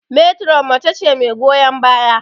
Meturon mace ce mai goyon baya.